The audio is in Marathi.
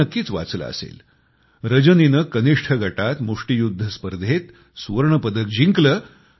आपण नक्कीच वाचलं असेल रजनीने कनिष्ठ गटात मुष्ठीयुध्द स्पर्धेत सुवर्ण पदक जिंकलं